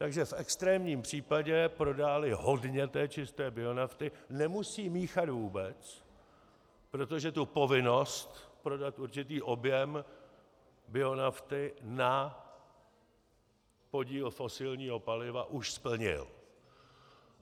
Takže v extrémním případě prodá-li hodně čisté bionafty, nemusí míchat vůbec, protože tu povinnost prodat určitý objem bionafty na podíl fosilního paliva už splnil.